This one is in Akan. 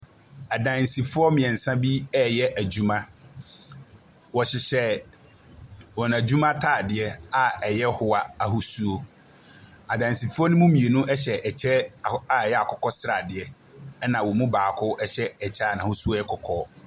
Adansifoɔ mmeɛnsa bi reyɛ adwuma. Wɔhyehyɛ wɔn adwuma atadeɛ a ɛyɛ hoa ahosuo. Adansifoɔ no mu hyɛ kyɛ aho a ɛyɛ akokɔ sradeɛ, ɛnna wɔn mu baako hyɛ kyɛ a n'ahosuo yɛ kɔkɔɔ.